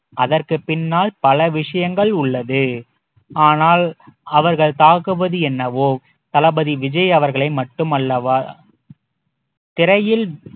அதற்குப் பின்னால் பல விஷயங்கள் உள்ளது ஆனால் அவர்கள் தாக்குவது என்னவோ தளபதி விஜய் அவர்களை மட்டுமல்லவா திரையில்